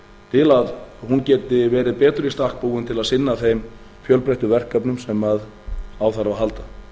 til að hún geti verið betur í stakk búin til að sinna þeim fjölbreyttu verkefnum sem á þarf að halda